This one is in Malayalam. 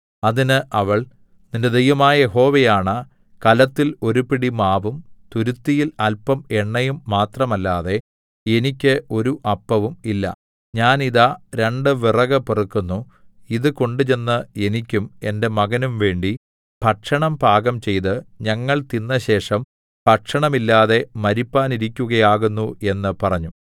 അതിന് അവൾ നിന്റെ ദൈവമായ യഹോവയാണ കലത്തിൽ ഒരു പിടി മാവും തുരുത്തിയിൽ അല്പം എണ്ണയും മാത്രമല്ലാതെ എനിക്ക് ഒരു അപ്പവും ഇല്ല ഞാൻ ഇതാ രണ്ട് വിറക് പെറുക്കുന്നു ഇത് കൊണ്ടുചെന്ന് എനിക്കും എന്റെ മകനും വേണ്ടി ഭക്ഷണം പാകംചെയ്ത് ഞങ്ങൾ തിന്നശേഷം ഭക്ഷണമില്ലാതെ മരിപ്പാനിരിക്കയാകുന്നു എന്ന് പറഞ്ഞു